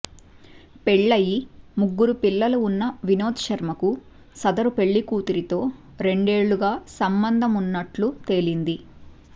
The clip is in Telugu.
పెళ్లయి ముగ్గురు పిల్లలు ఉన్న వినోద్ శర్మకు సదరు పెళ్లికూతురితో రెండేళ్లుగా సంబంధమున్నట్లు తేలింది